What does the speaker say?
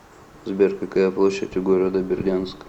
сбер какая площадь у города бердянск